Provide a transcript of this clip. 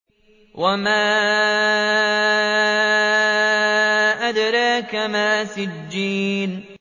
وَمَا أَدْرَاكَ مَا سِجِّينٌ